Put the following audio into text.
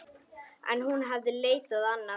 En hún hafði leitað annað.